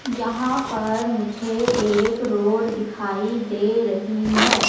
यहां पर मुझे एक रोड दिखाई दे रही है।